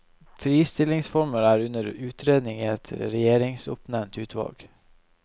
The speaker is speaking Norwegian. Fristillingsformer er under utredning i et regjeringsoppnevnt utvalg.